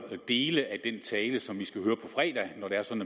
dele af den tale som